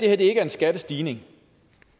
er en skattestigning